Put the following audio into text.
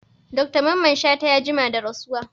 Dr mamman shata ya jima da rasuwa